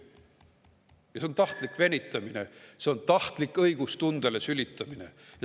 Ja see on tahtlik venitamine, see on tahtlik õiglustundele sülitamine.